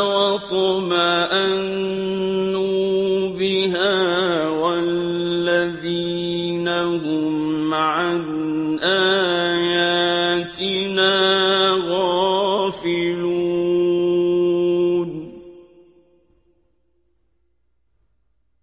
وَاطْمَأَنُّوا بِهَا وَالَّذِينَ هُمْ عَنْ آيَاتِنَا غَافِلُونَ